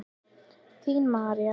Þín Marín.